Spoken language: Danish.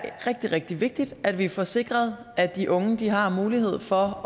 er rigtig rigtig vigtigt at vi får sikret at de unge har mulighed for